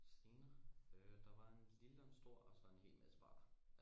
Scener? øh der var en lille og en stor og så en hel masse barer